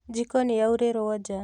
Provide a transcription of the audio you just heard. Njiko nĩyaurĩrwo nja